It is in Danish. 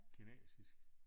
Kinesisk